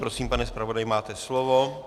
Prosím, pane zpravodaji, máte slovo.